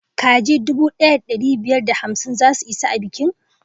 Kaji dubu daya da dari biyar da hamsin za su isa a i bikin